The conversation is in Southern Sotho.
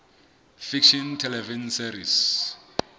fiction television series